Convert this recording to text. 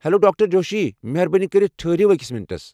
Hello, doctor Joshi. مہربٲنی کٔرتھ ٹھرِیو أکس مِنٹس ۔